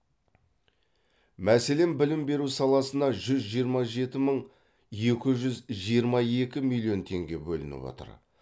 мәселен білім беру саласына жүз жиырма жеті мың екі жүз жиырма екі миллион теңге бөлініп отыр